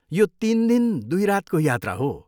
यो तिन दिन, दुई रातको यात्रा हो।